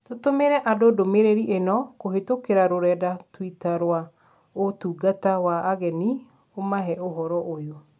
Tũtũmĩre andũ ndũmĩrĩri ĩno kũhĩtũkĩra rũrenda tũitaa rwa ũtungata wa ageni ũmahe ũhoro ũyu.